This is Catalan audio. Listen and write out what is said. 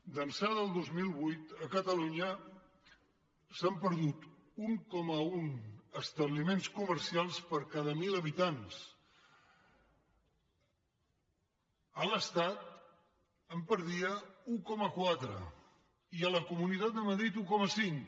d’ençà del dos mil vuit a catalunya s’han perdut un coma un establiments comercials per cada mil habitants l’estat en perdia un coma quatre i la comunitat de madrid un coma cinc